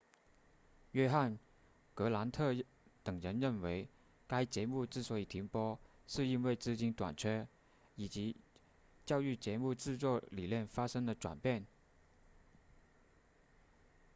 约翰格兰特等人认为该节目之所以停播是因为资金短缺以及教育节目制作理念发生了转变